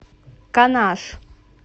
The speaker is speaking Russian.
канаш